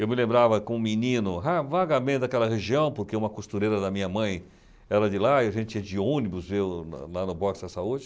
Eu me lembrava, como menino, vagamente daquela região, porque uma costureira da minha mãe era de lá e a gente ia de ônibus ver o... lá no Boxa Saúde.